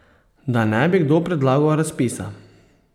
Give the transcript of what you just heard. Da ne bi kdo predlagal razpisa!